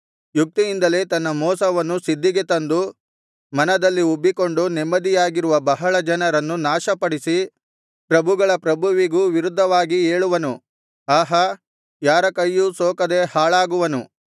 ಯುಕ್ತಿಯಿಂದಲೇ ತನ್ನ ಮೋಸವನ್ನು ಸಿದ್ಧಿಗೆ ತಂದು ಮನದಲ್ಲಿ ಉಬ್ಬಿಕೊಂಡು ನೆಮ್ಮದಿಯಾಗಿರುವ ಬಹಳ ಜನರನ್ನು ನಾಶಪಡಿಸಿ ಪ್ರಭುಗಳ ಪ್ರಭುವಿಗೂ ವಿರುದ್ಧವಾಗಿ ಏಳುವನು ಆಹಾ ಯಾರ ಕೈಯೂ ಸೋಕದೆ ಹಾಳಾಗುವನು